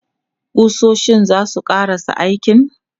Ƙusoshin za su ƙarasa aikin?